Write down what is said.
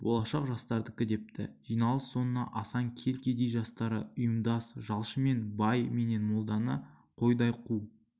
болашақ жастардікі депті жиналыс соңында асан кел кедей жастары ұйымдас жалшымен бай менен молданы қойдай қу